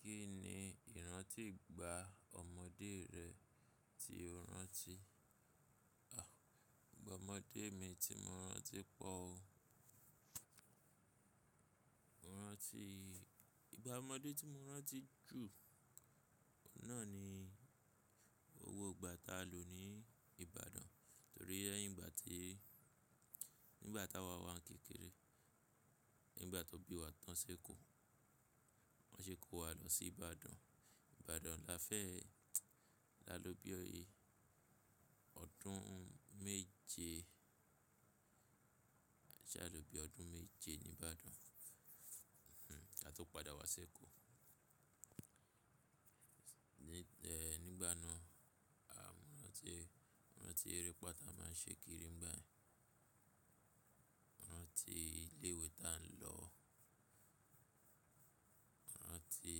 Kí ni ìrántí ìgbà ọmọdé rẹ tí o rántí? Ọ̀, ìgbà ọmọdé mi tí mo rántí pọ̀ o. Rántí, ìgbà ọmọdé tí mo rántí jù náà ni owó ìgbà tá lò ní Ibadan, torí ẹ́ nígbà tí, nígbà tá wa wá kékeré, nígbà tó bí wa tán sí Èkó, wọ́n ṣe kó wa lọ sí Ibadan. Ibadan la fẹ́, la ló bí ọyẹ́. Ọdún méje, a jẹ́ a ló bí ọdún méje ní Ìbàdàn, hmm, àtọ̀ padà wá sí Èkó. Ni, e, nígbà náà, a m, rántí, rántí eré pá tá máa n ṣe kiri nígbà ẹ́n, rántí ilé ìwé tá n lọ, rántí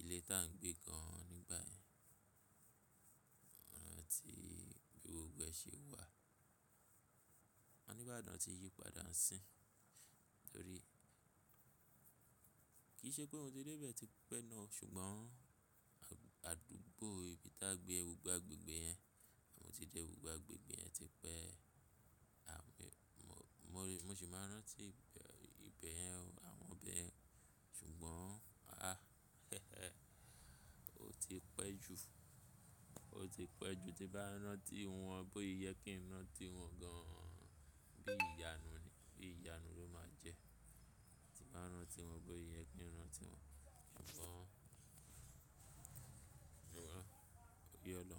ilé tá n gbé kan nígbà ẹ́n, rántí gbogbo ẹ ṣe wà. Àwọn ní Ìbàdàn ti yípadà ń sìn, torí kì í ṣe pé oun tí dé ibẹ̀ tí pé náà, ṣùgbọ́n àdúgbò ibi tá gbé gbogbo agbègbè yẹn, àmọ́ ti jẹ́ gbogbo agbègbè yẹn ti pé. A m, mo rí, mo sì máa rántí ibẹ̀ yẹn o, àwọn ọbẹ̀, ṣùgbọ́n, a, o ti pẹ́ jù, o ti pẹ́ jù. Ti bá rántí wọn bó i yẹ kí n rántí wọn gan an bí ìyanu ni, bí ìyanu ló máa jẹ́. Ti bá rántí wọn bó i yẹ kí n rántí wọn, ṣùgbọ́n, o yọ lọ.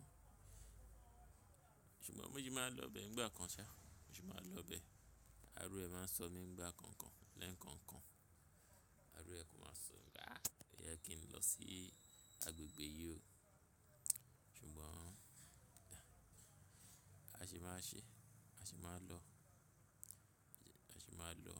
Ṣùgbọ́n mo sì máa n lọ ibẹ̀ nígbà kan ṣá, mo sì máa n lọ ibẹ̀. Arú ẹ máa n sọ mí nígbà kankan, lẹ́ẹ̀kankan. Arú ẹ kò máa sọ, gáà, ì yẹ kí n lọ sí agbègbè yìí o. Ṣùgbọ́n, a sì máa ṣe, a sì máa lọ, a sì máa lọ.